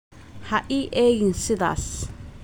Ha ii eegin sidaas